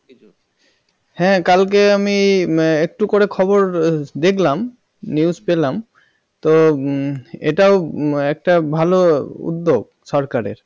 হ্যাঁ কালকে আমি একটু করে খবর দেখলাম news পেলাম তো উহ এটাও একটা ভাল উদ্যোগ সরকারের